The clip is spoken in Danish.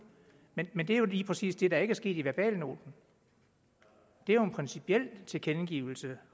men men det er jo lige præcis det der ikke er sket i verbalnoten det er jo en principiel tilkendegivelse